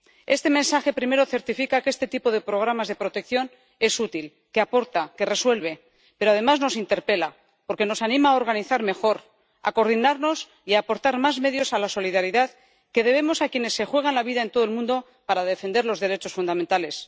Este mensaje, primero, certifica que este tipo de programas de protección es útil, que aporta, que resuelve, pero, además, nos interpela porque nos anima a organizar mejor, a coordinarnos y aportar más medios a la solidaridad que debemos a quienes se juegan la vida en todo el mundo para defender los derechos fundamentales.